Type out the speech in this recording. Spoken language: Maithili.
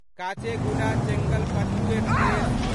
काचेगुडा चेंगलपट्टू एक्सप्रेस